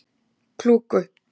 Klúku